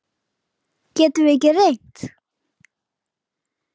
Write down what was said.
Getum við ekki reynt?